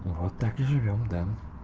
вот так и живём да